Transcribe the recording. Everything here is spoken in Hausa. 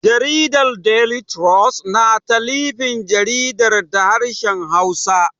Jaridar Daily Trust na talifin jaridar da harshen Hausa.